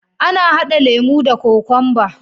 Ana hada lemo da kokwanba.